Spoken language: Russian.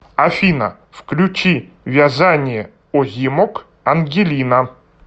афина включи вязание озимок ангелина